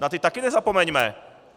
Na ty taky nezapomeňme!